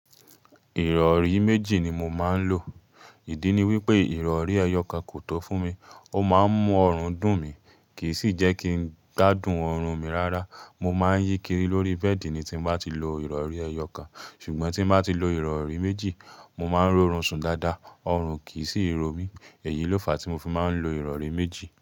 Ìrọ̀rí méjì ni mo máa ń lò. Ìdí ni wípé ìrọ̀rí ẹyọ kan kò tọ́ fún mi. Ó máa ń mú ọrùn dùn mí, kì í sì jẹ́ kí ń gbá dùn ọrùn mi rárá. Mo máa ń yíkiri lórí bẹ́ẹ̀dì ní tí mo bá ti lo ìrọ̀rí ẹyọ kan. Ṣùgbọ́n tí mo bá ti lo ìrọ̀rí méjì, mo máa ń rọrùn sùn dáadáa, ọrùn kì í sì ro mí. Èyí ló fà á tí mo fi máa ń lo ìrọ̀rí méjì.